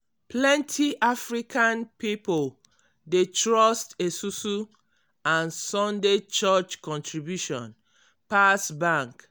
plenty african pipo dey trust esusu and sunday church contribution pass bank.